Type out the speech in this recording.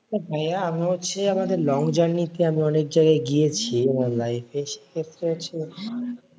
ভাইয়া আমি হচ্ছে আমাদের long journey তে আমি অনেক জায়গায় গিয়েছি আমার life এ সেক্ষেত্রে হচ্ছে